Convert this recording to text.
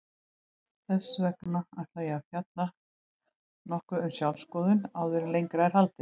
Þess vegna ætla ég að fjalla nokkuð um sjálfsskoðun áður en lengra er haldið.